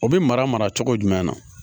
O bɛ mara mara cogo jumɛn na